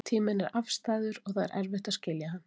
Tíminn er afstæður og það er erfitt að skilja hann.